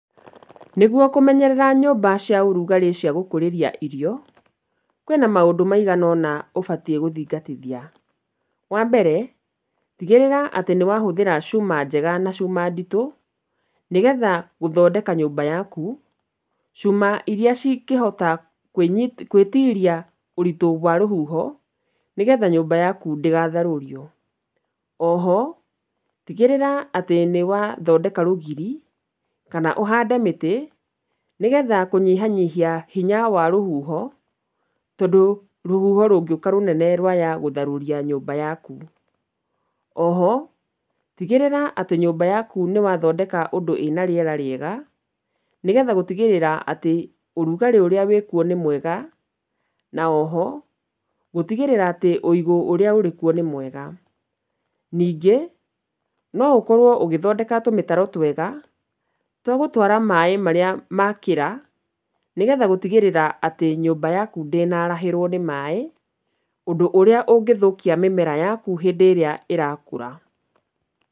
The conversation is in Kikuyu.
Nĩguo kũmerera nyũmba cia ũrugarĩ cia gũkũrĩria irio, kwĩ na maũndũ maigana ũna ũbatiĩ gũthingatithia, wa mbere tigĩrĩra atĩ nĩ wahũthĩra cuma njega na cuma nditũ, nĩgetha gũthondeka nyũmba yaku, cuma irĩa cingĩhota gwĩtiria ũritũ wa rũhuho, nĩgetha nyũmba yaku ndĩgatharũrio. O ho, tigĩrĩra atĩ nĩ wathondeka rũgiri kana ũhande mĩtĩ nĩ getha kũnyihanyihia hinya wa rũhuho, tondũ rũhuho rũngĩũka rũnene rwaya gũtharũria nyũmba yaku. O ho, tigĩrĩra atĩ nyũmba yaku nĩ wathondeka ũndũ ĩna rĩera rĩega, nĩgetha gũtigĩrĩra atĩ ũrugarĩ ũrĩa wĩkuo nĩ mwega na o ho gũtigĩrĩra atĩ ũigũ ũrĩa ũrĩ kuo nĩ mwega. Ningĩ no ũkorwo ũgĩthondeka tũmĩtaro twega twagũtwara maĩ marĩa makĩra, nĩgetha gũtigĩrĩra atĩ nyũmba yaku atĩ ndĩnarahĩrwo nĩ maĩ ũndũ ũrĩa ũngĩthũkia mĩmera yaku hĩndĩ ĩrĩa ĩrakũra.